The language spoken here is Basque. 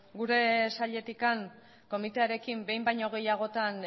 gure sailetik komitearekin behin baino gehiagotan